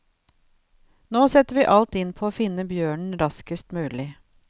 Nå setter vi alt inn på å finne bjørnen raskest mulig.